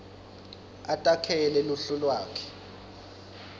atakhele luhlu lwakhe